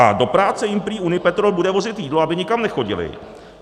A do práce jim prý Unipetrol bude vozit jídlo, aby nikam nechodili.